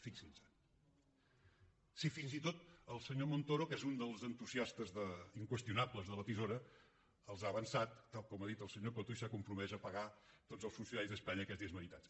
fixin·se si fins i tot el senyor montoro que és un dels entusiastes inqües·tionables de la tisora se’ls ha avançat tal com ha dit el senyor coto i s’ha compromès a pagar tots els fun·cionaris d’espanya aquests dies meritats